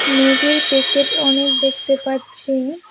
মেগীর packet অনেক দেখতে পাচ্ছি।